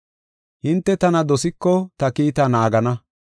“Hinte tana dosiko ta kiitaa naagana.